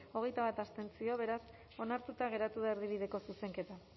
hogeita bat abstentzio beraz onartuta geratu da erdibideko zuzenketa